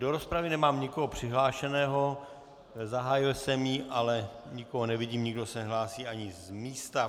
Do rozpravy nemám nikoho přihlášeného, zahájil jsem ji, ale nikoho nevidím, nikdo se nehlásí ani z místa.